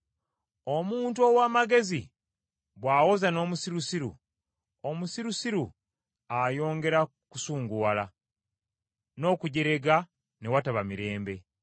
Omuntu ow’amagezi bw’awoza n’omusirusiru, omusirusiru ayongera kusunguwala, n’okujerega ne wataba mirembe.